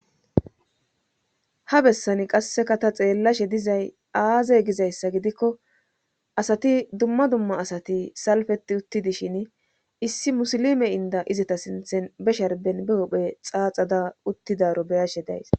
ha bessani qasseka ta xeellashe dizay aaze gizayssa gidikko asati dumma dumma asati salfeti uttidishin issi musilime inda izata sinthen be sharben be hophe xaaxada uttidaro beyashe days